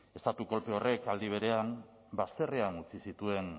estatu kolpe horrek aldi berean bazterrean utzi zituen